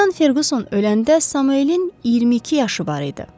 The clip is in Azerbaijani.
Kapitan Ferquson öləndə Samuelin 22 yaşı var idi.